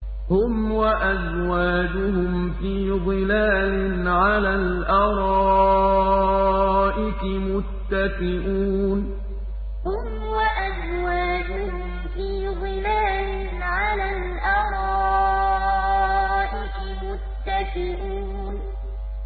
هُمْ وَأَزْوَاجُهُمْ فِي ظِلَالٍ عَلَى الْأَرَائِكِ مُتَّكِئُونَ هُمْ وَأَزْوَاجُهُمْ فِي ظِلَالٍ عَلَى الْأَرَائِكِ مُتَّكِئُونَ